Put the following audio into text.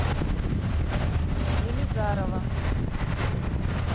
елизарова